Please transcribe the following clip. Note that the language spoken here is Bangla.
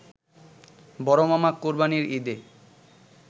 বড়মামা কোরবানির ঈদে